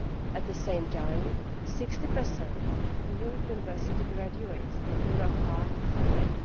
At the same time, 60 of new university graduates in Europe are female.